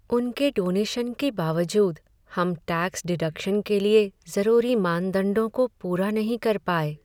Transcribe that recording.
उनके डोनेशन के बावजूद हम टैक्स डिडक्शन के लिए ज़रूरी मानदंडों को पूरा नहीं कर पाए।